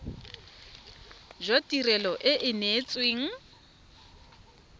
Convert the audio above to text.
jwa tirelo e e neetsweng